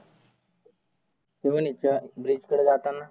Seven हिल्सच्या ब्रिजकडं जाताना.